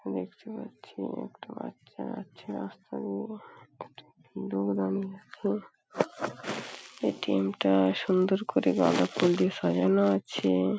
দেখতে পাচ্ছি একটা বাচ্চা আছে এ.টি.এম. -টা সুন্দর করে গাঁদাফুল দিয়ে সাজানো আছে ।